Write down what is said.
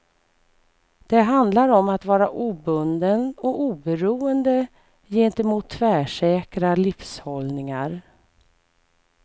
Det handlar om att vara obunden och oberoende gentemot tvärsäkra livshållningar.